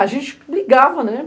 A gente ligava, né?